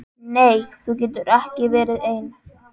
Nei þú getur ekki verið ein.